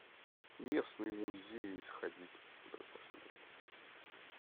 местные музеи сходить посмотреть